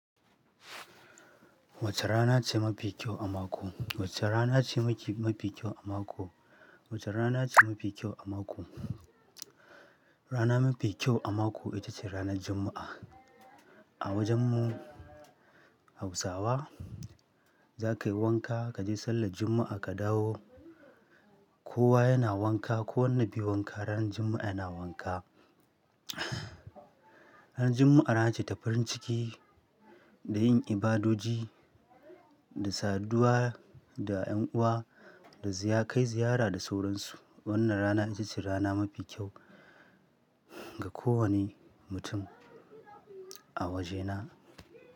Wace rana ce mafi kyau a mako? Wace rana ce mafi kyau a mako? Wace rana ce mafi kyau a mako? Rana mafi kyau a mako ita ce ranar Juma'a. A wajen mu Hausawa za ka yi wanka, ka je sallan Juma'a ka dawo. Kowa yana wanka, ko wanda bai yi wanka ran Juma'a yana wanka. Ran Juma'a rana ce ta farin ciki da yin ibadoji da saduwa da 'yan uwa da ziya kai ziyara da sauransu. Wannan rana ita ce rana mafi kyau ga kowane mutum a wajena.